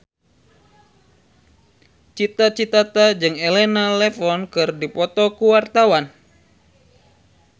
Cita Citata jeung Elena Levon keur dipoto ku wartawan